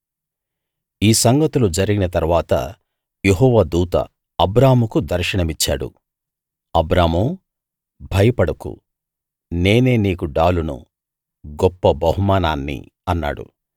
ఈ సంగతులు జరిగిన తరువాత యెహోవా దూత అబ్రాముకు దర్శనమిచ్చాడు అబ్రామూ భయపడకు నేనే నీకు డాలును గొప్ప బహుమానాన్ని అన్నాడు